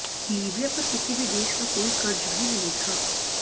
Libya पर किसी भी देश का कोई कर्ज भी नहीं था